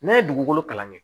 Ne ye dugukolo kalan kɛ